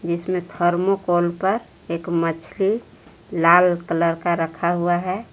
बीच में थर्मोकोल पर एक मछली लाल कलर का रखा हुआ है।